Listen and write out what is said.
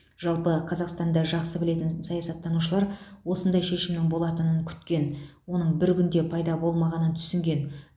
жалпы қазақстанда жақсы білетін саясаттанушылар осындай шешімнің болатынын күткен оның бір күнде пайда болмағанын түсінген